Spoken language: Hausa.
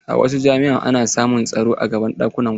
A wasu jami'a ana sa masu tsaro a gaban ɗakunan kwana.